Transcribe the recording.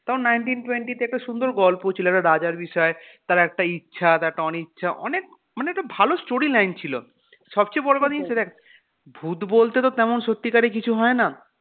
তাও nineteen twenty তে একটা সুন্দর গল্প ছিল, একটা রাজার বিষয় তার একটা ইচ্ছা তার একটা অনিচ্ছা অনেক অনেকটা ভালো storyline ছিল, সবচেয়ে দেখ ভুত বলতে তো তেমন সত্যিকারে কিছু হয়না